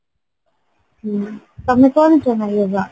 ହ୍ମ ତମେ କରୁଚ ନା yoga